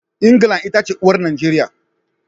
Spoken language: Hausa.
England ita ce uwar Najeriya.